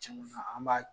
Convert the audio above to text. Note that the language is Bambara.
Cɛn na an b'a